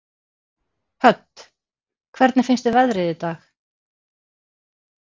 Hödd: Hvernig finnst þér veðrið í dag?